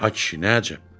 Ay kişi, nə əcəb?